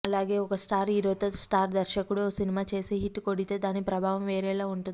అలాగే ఒక స్టార్ హీరోతో స్టార్ దర్శకుడు ఓ సినిమా చేసి హిట్ కొడితే దాని ప్రభావం వేరేలా ఉంటుంది